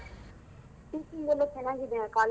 Teaching ಎಲ್ಲಾ ಚೆನ್ನಾಗಿದ್ಯ ಆ college?